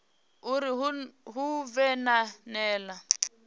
uri hu vhe na nila